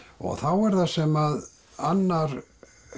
og þá er það sem annar